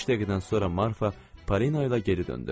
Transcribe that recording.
Beş dəqiqədən sonra Marfa Parina ilə geri döndü.